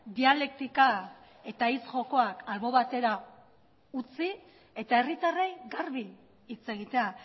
dialektika eta hitz jokoak albo batera utzi eta herritarrei garbi hitz egitea